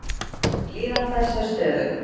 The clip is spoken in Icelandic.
Líðan þess er stöðug.